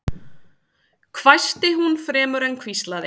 hvæsti hún fremur en hvíslaði